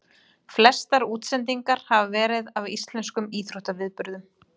Flestar útsendingarnar hafa verið af íslenskum íþróttaviðburðum.